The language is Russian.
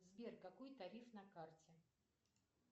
сбер какой тариф на карте